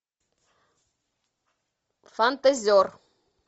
фантазер